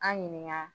An ɲininka